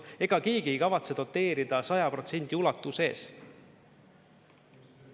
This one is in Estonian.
Ega keegi ei kavatse doteerida 100% ulatuses.